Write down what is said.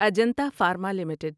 Ajanta Pharma limited